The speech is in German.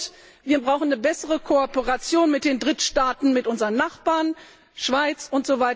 Und wir brauchen eine bessere Kooperation mit den Drittstaaten, mit unseren Nachbarn, der Schweiz usw.,